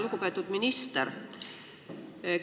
Lugupeetud minister!